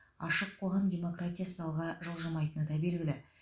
ашық қоғам демократиясыз алға жылжымайтыны да белгілі